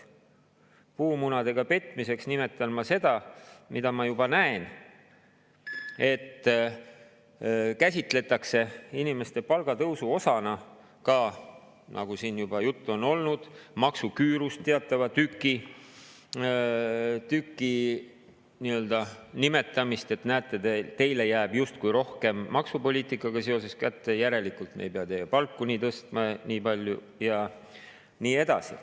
Puumunadega petmiseks nimetan ma seda, mida ma juba näen, et käsitletakse inimeste palgatõusu osana ka seda – nagu siin juba juttu on olnud – maksuküürust teatavat tükki: näete, teile jääb maksupoliitikaga seoses justkui rohkem kätte, järelikult me ei pea teie palku nii palju tõstma ja nii edasi.